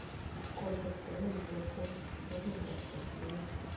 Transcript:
сколько стоит две фунтов стерлингов в россии